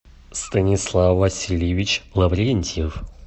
станислав васильевич лаврентьев